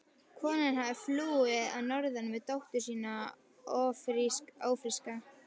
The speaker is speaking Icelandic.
Konan hafði flúið að norðan með dóttur sína ófríska.